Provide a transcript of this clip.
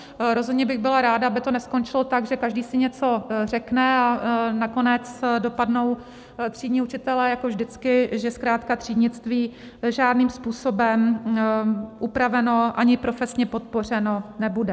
Rozhodně bych byla ráda, aby to neskončilo tak, že každý si něco řekne, a nakonec dopadnou třídní učitelé jako vždycky, že zkrátka třídnictví žádným způsobem upraveno ani profesně podpořeno nebude.